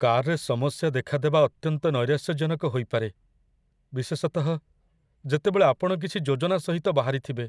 କାର୍‌ରେ ସମସ୍ୟା ଦେଖାଦେବା ଅତ୍ୟନ୍ତ ନୈରାଶ୍ୟଜନକ ହୋଇପାରେ, ବିଶେଷତଃ, ଯେତେବେଳେ ଆପଣ କିଛି ଯୋଜନା ସହିତ ବାହାରିଥିବେ।